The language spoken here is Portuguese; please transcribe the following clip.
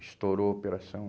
Estourou a operação.